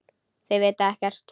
Þau vita ekkert.